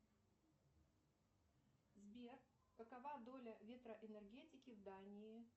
сбер какова доля ветроэнергетики в дании